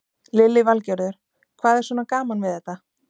Lillý Valgerður: Hvað er svona gaman við þetta?